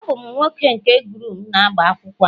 Abum nwoke nke groom n'agbamakwụkwọ a